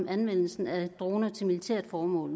anvendelsen af droner til militært formål